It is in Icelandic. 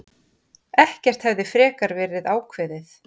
Ekkert hefði frekar verið ákveðið.